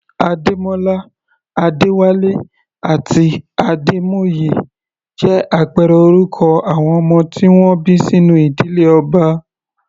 Ademola, Adewale àti Ademoye jẹ́ àpẹẹrẹ orúkọ àwọn ọmọ tí wọ́n bí sínú ìdílé ọba.